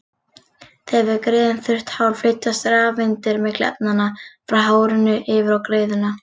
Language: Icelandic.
Þegar við greiðum þurrt hár flytjast rafeindir milli efnanna, frá hárinu yfir á greiðuna.